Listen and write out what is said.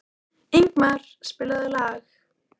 Ingmar, spilaðu lag.